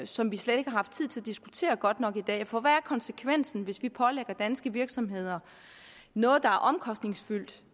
som vi slet ikke har haft tid til at diskutere godt nok i dag for hvad konsekvensen hvis vi pålægger danske virksomheder noget der er omkostningsfyldt